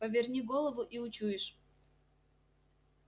поверни голову и учуешь